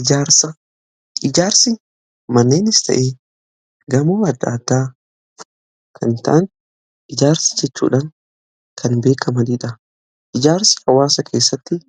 Ijaarsa jechuun manneenis ta'ee gamoo adda addaa hojjachuu jechuudha. Hawaasa keessatti